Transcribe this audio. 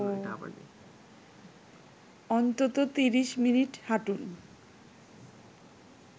অন্তত ৩০ মিনিট হাঁটুন